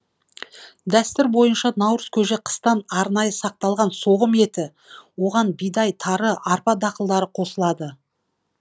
дәстүр бойынша наурыз көже қыстан арнайы сақталған соғым еті оған бидай тары арпа дақылдары қосылады